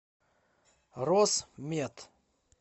росмет